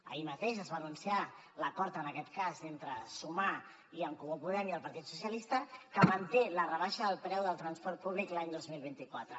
ahir mateix es va anunciar l’acord en aquest cas entre sumar i en comú podem i el partit dels socialistes que manté la rebaixa del preu del transport públic l’any dos mil vint quatre